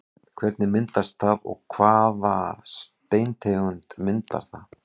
Hvernig myndast það og hvaða steintegund myndar það?